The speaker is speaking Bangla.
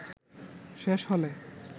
শেষ হলে